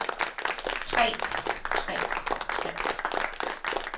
trægt trægt trægt